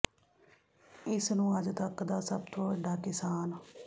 ਇਸ ਨੂੰ ਅੱਜ ਤੱਕ ਦਾ ਸਭ ਤੋਂ ਵੱਡਾ ਕਿਸਾਨ